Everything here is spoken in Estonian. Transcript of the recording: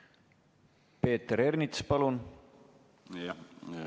Peeter Ernits, palun!